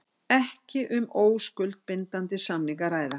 Ekki um óskuldbindandi samning að ræða